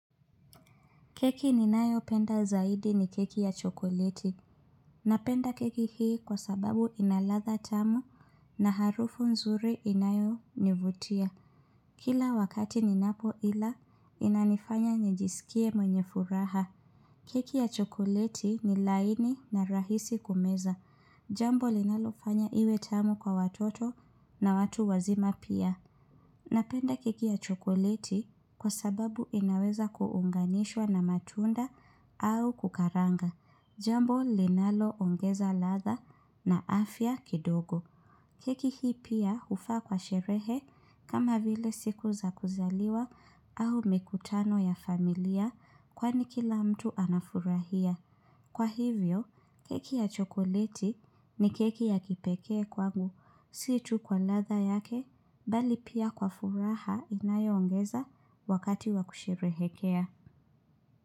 Keki ninayopenda zaidi ni keki ya chokoleti. Napenda keki hii kwa sababu ina ladha tamu na harufu nzuri inayonivutia. Kila wakati ninapoila, inanifanya njisikie mwenye furaha. Keki ya chokoleti ni laini na rahisi kumeza. Jambo linalofanya iwe tamu kwa watoto na watu wazima pia. Napenda keki ya chokoleti kwa sababu inaweza kuunganishwa na matunda au kukaranga, jambo linaloongeza ladha na afya kidogo. Keki hii pia hufaa kwa sherehe kama vile siku za kuzaliwa au mikutano ya familia kwani kila mtu anafurahia. Kwa hivyo, keki ya chokoleti ni keki ya kipekee kwangu, si tu kwa ladha yake, bali pia kwa furaha inayoongeza wakati wakusherehekea.